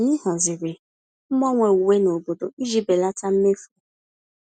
Anyị haziri mgbanwe uwe nobodo iji belata mmefu.